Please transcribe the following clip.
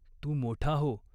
तू मोठा हो.